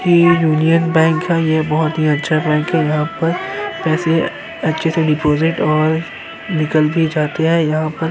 यह union bank है। यह बहुत ही अच्छा बैंक है। यहाँ पर पैसे अच्छे से डिपाजिट और निकल भी जाते हैं।